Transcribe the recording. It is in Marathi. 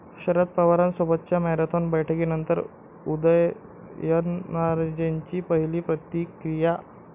शरद पवारांसोबतच्या मॅरेथॉन बैठकीनंतर उदयनराजेंची पहिली प्रतिक्रिया